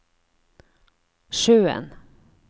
sjøen